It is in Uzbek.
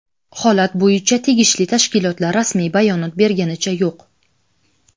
Holat bo‘yicha tegishli tashkilotlar rasmiy bayonot berganicha yo‘q.